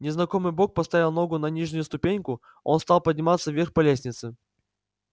незнакомый бог поставил ногу на нижнюю ступеньку он стал подниматься вверх по лестнице